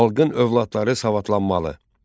Xalqın övladları savadlanmalı.